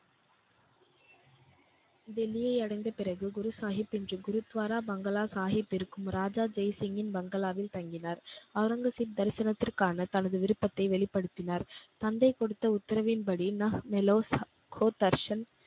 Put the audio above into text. டெல்லியை அடைந்த பிறகு குருசாகிப் இன்று குருத்வாரா Bungalow சாகிப் இருக்கும் ராஜா ஜெய்சிங்கின் Bungalow வில் தங்கினார். ஒளரங்கசீப் தரிசனத்திற்கான தனது விருப்பத்தை வெளிப்படுத்தினார். தந்தை கொடுத்த உத்தரவின்படி